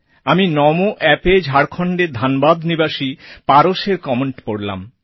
আমি নামো Appএ ঝাড়খণ্ডের ধানবাদ নিবাসী পারসএর কমেন্ট পড়লাম